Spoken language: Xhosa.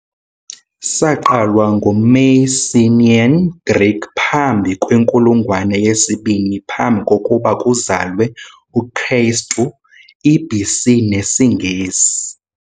Saqalwa ngu-Mycenaean Greek phambi kwenkulungwane yesibini phambi kokuba kuzalwe uKristu, i-BC nesiNgesi.